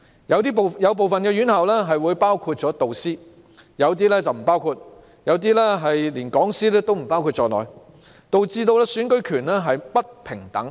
有部分院校包括導師，有些則不包括，甚至連講師也不包括在內，導致選舉權並不平等。